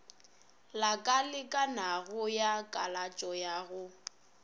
lakalekanago ya kalatšo ka go